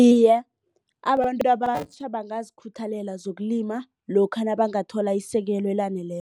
Iye, abantu abatjha bangazikhuthalela zokulima lokha nabangathola isekelo elaneleko.